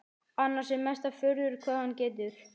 Annars er mesta furða hvað hann getur.